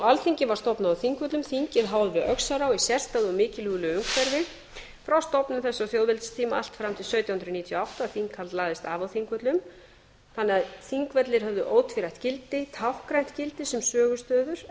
alþingi var stofnað á þingvöllum þingið háð við öxará í og mikilúðlegu umhverfi frá stofnun þessa þjóðveldistíma allt fram til sautján hundruð níutíu og átta að þinghald lagðist af á þingvöllum þannig að þingvellir höfðu ótvírætt gildi táknrænt gildi sem sögustaður en